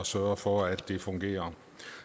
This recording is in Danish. sørget for at det fungerer